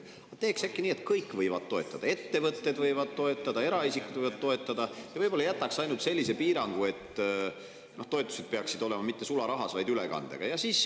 Teeks äkki nii, et kõik võivad toetada: ettevõtted võivad toetada, eraisikud võivad toetada, ja võib-olla jätaks ainult sellise piirangu, et toetused peaksid olema mitte sularahas, vaid ülekandega.